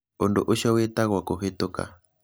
Ũndũ ũcio wĩtagwo kũhĩtũka.